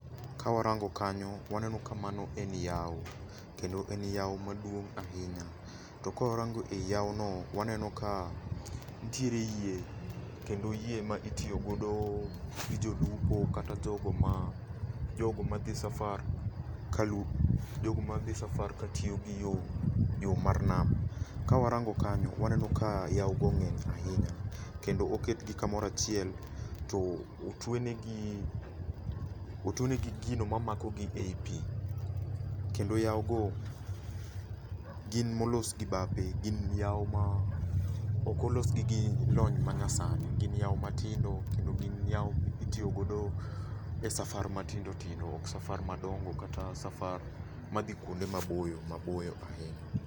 Ka warango kanyo, waneno ka mano en yawo. Kendo en yawo maduong' ahinya. To kawarango e yawo no, waneno ka nitiere yie. Kendo yie ma itiyogodo gi jolupo kata jogo ma, jogo madhi safar kalu, jogo madhi safar katiyo gi yo, yo mar nam. Kawarango kanyo waneno ka yawo go ng'eny ahinya. Kendo oketgi kamoro achiel, to otwe negi, otwe negi gino mamako gi ei pi. Kendo yawo go gin molos gi bape. Gin yao ma ok olos gi gi lony manyasani. Gin yawo matindo kendo gin yawo mitiyogodo e safar matindo tindo ok safar madongo kata safar madhi kuonde maboyo maboyo ahinya.